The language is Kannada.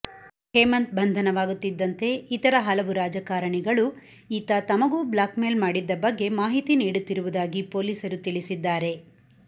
ಹೇಮಂತ್ ಬಂಧನವಾಗುತ್ತಿದ್ದಂತೆ ಇತರ ಹಲವು ರಾಜಕಾರಣಿಗಳು ಈತ ತಮಗೂ ಬ್ಲಾಕ್ ಮೇಲ್ ಮಾಡಿದ್ದ ಬಗ್ಗೆ ಮಾಹಿತಿ ನೀಡುತ್ತಿರುವುದಾಗಿ ಪೊಲೀಸರು ತಿಳಿಸಿದ್ದಾರೆ